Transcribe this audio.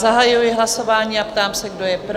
Zahajuji hlasování a ptám se, kdo je pro?